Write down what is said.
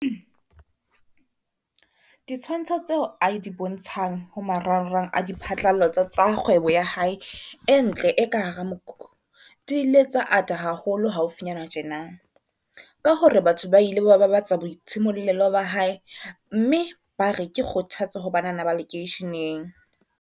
Ditshwantsho tseo a di bontshang ho maranrang a diphatlalatso tsa kgwebo ya hae e ntle e ka hara mokhukhu di ile tsa ata haholo haufinyana tjena, ka hore batho ba ile ba babatsa boitshimollelo ba hae mme bare ke kgothatso ho banana ba lekeisheneng.